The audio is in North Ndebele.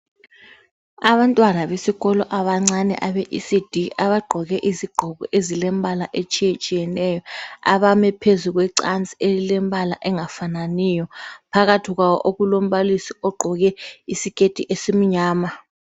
Abantwana besikolo abancane abe Ecd abangqoke izigqoko ezilombala otshiye tshiyeneyo abame phezu kwecasi elimbala etshiye tshiyeneyo okulombalisi ogqoke skirt esilombala omnyama